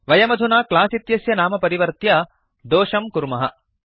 वयमधुना क्लास् इत्यस्य नाम परिवर्त्य दोषं कुर्मः